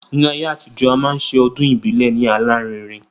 Ní ayé àtijọ́, a máa ṣe ọdún ìbílẹ̀ ní alárinrin